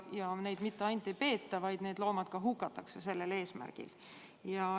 Ja neid mitte ainult ei peeta, need loomad ka hukatakse sellel eesmärgil.